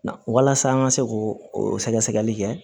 Walasa an ka se k'o sɛgɛsɛgɛli kɛ